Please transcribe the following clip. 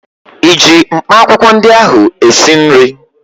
ịji mkpaakwụkwọ ndị ahụ esi nri?